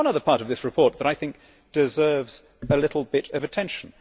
There is one other part of this report that I think deserves a little bit of attention.